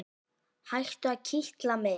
Hættu að kitla mig.